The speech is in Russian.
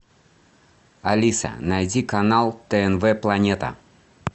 алиса найди канал тнв планета